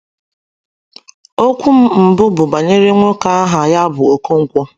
Okwu m mbụ bụ banyere nwoke aha ya bụ okonkwo.